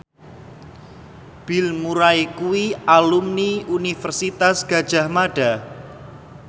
Bill Murray kuwi alumni Universitas Gadjah Mada